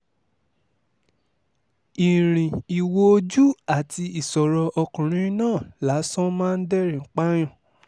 ìrìn ìwò ojú àti ìṣòro ọkùnrin náà lásán máa ń dẹ́rìn-ín pààyàn